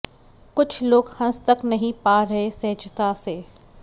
कुछ लोग हंस तक नहीं पा रहे सहजता से